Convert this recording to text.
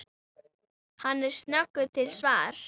Hann er snöggur til svars.